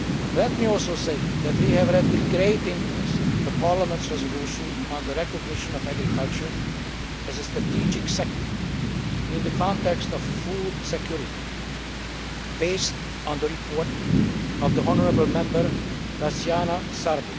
Let me also say that we have read with great interest Parliament's resolution on the recognition of agriculture as a strategic sector in the context of food security, based on the report by the honourable Member, Daciana Sârbu.